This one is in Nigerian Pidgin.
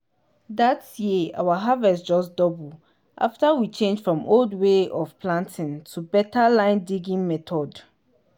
that year our harvest just double after we change from **old way of planting** to **better line-digging method